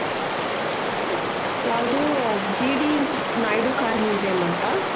ಯಾವ್ದು GD naidu car museum ಅಂತ